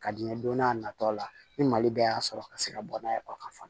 Ka di n ye don n'a nata la ni mali bɛɛ y'a sɔrɔ ka se ka bɔ n'a ye o ka